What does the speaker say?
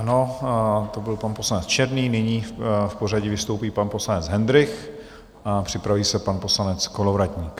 Ano, to byl pan poslanec Černý, nyní v pořadí vystoupí pan poslanec Hendrych a připraví se pan poslanec Kolovratník.